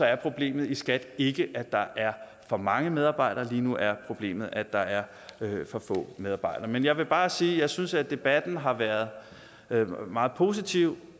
er problemet i skat ikke at der er for mange medarbejdere lige nu er problemet at der er for få medarbejdere men jeg vil bare sige at jeg synes at debatten har været været meget positiv